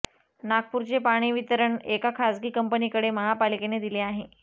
नागपूरचे पाणीवितरण एका खासगी कंपनीकडे महापालिकेने दिले आहे